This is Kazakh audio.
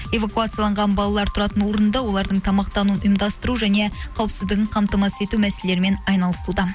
эвакуацияланған балалар тұратын орынды олардың тамақтануын ұйымдастыру және қауіпсіздігін қамтамасыз ету мәселелерімен айналысуда